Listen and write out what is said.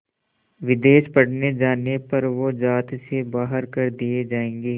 विदेश पढ़ने जाने पर वो ज़ात से बाहर कर दिए जाएंगे